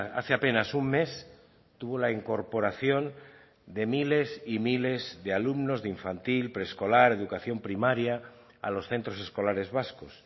hace apenas un mes tuvo la incorporación de miles y miles de alumnos de infantil preescolar educación primaria a los centros escolares vascos